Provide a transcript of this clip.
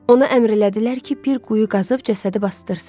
Ona əmr elədilər ki, bir quyu qazıb cəsədi basdırsın.